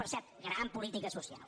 per cert gran política so·cial